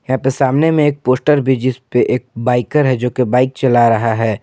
यहां पे सामने में एक पोस्टर भी जिसपे एक बाइकर है जो की बाइक चला रहा है।